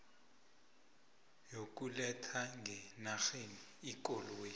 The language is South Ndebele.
yokuletha ngenarheni ikoloyi